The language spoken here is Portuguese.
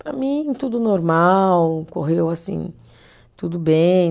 Para mim, tudo normal, correu assim, tudo bem.